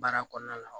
Baara kɔnɔna la